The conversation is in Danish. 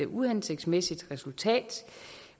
uhensigtsmæssigt resultat